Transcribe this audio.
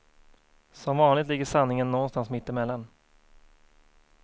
Som vanligt ligger sanningen någonstans mitt emellan.